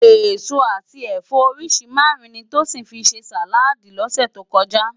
Esó ati ẹfọ óriṣi márùn ni Tosin fi sé sáládì lòsè tó kòjá